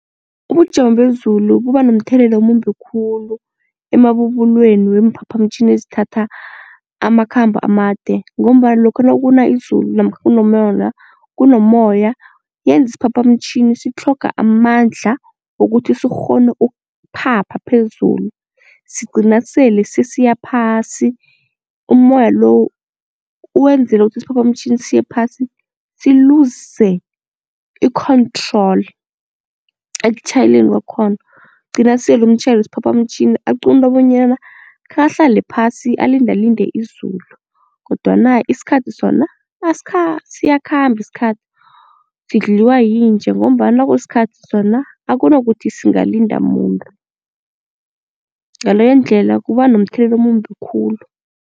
Ubujamo bezulu buba nomthelela omumbi khulu emabubulweni weemphaphamtjhini ezithatha amakhambo amade ngombana lokha nakuna izulu namkha kunomoya yenza isiphaphamtjhini sitlhoga amandla wokuthi sikghone ukuphapha phezulu sigcina sele sesiya phasi umoya lo wenzele ukuthi isiphaphamtjhini siye phasi siluze i-control ekutjhayeleni kwakhona, gcina sele umtjhayeli wesiphaphamtjhini aquntwa bonyana khe ahlale phasi alindalinde izulu kodwana isikhathi sona asikha siyakhamba isikhathi. Sidliwa yinje ngombana nakusikhathi sona akunakuthi singalinda muntu, ngaleyo ndlela kuba nomthelela omumbi khulu.